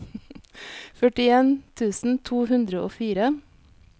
førtien tusen to hundre og fire